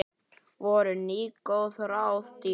Voru nú góð ráð dýr.